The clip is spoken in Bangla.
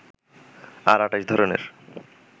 আর ২৮ ধরনের